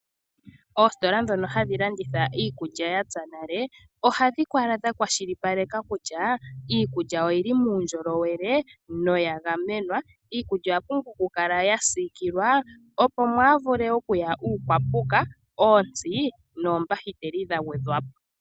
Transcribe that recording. Oositola dhoka hadhi landitha iikulya ya pya nale, ohadhi kala dhakwashilipaleka kutya iikulya oyi li muundjolowele noya gamenwa. Iikulya oya pumbwa okukala ya siikilwa, opo mwaa vule okuya uupuka, ontsi noongaga dha gwedhwa po.